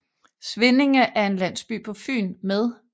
Svindinge er en landsby på Fyn med